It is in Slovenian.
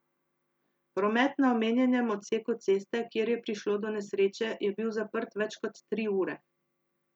Promet na omenjenem odseku ceste, kjer je prišlo do nesreče, je bil zaprt več kot tri ure.